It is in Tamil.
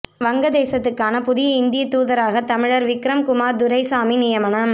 வங்கதேசத்துக்கான புதிய இந்திய தூதராக தமிழர் விக்ரம் குமார் துரைசாமி நியமனம்